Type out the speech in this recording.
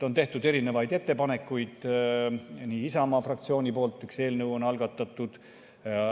On tehtud erinevaid ettepanekuid Isamaa fraktsiooni poolt, üks eelnõu on algatatud.